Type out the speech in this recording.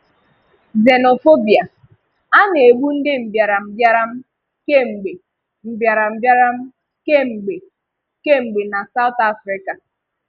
Xenophobia: A na-égbù ndị mbìáràmbìárà kem̀gbe mbìáràmbìárà kem̀gbe kem̀gbe na South Africa.